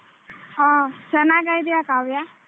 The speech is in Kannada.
ಹಾ ಚೆನ್ನಾಗೈದ ಕಾವ್ಯ.